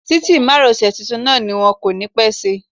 Títì márosẹ̀ tuntun náà ni wón kò ní pẹ́ ṣí.